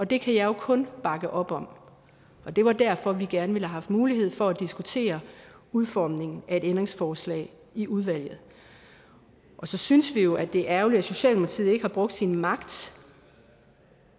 det kan jeg jo kun bakke op om og det var derfor vi gerne ville have haft mulighed for at diskutere udformningen af et ændringsforslag i udvalget så synes vi jo at det er ærgerligt at socialdemokratiet ikke har brugt sin magt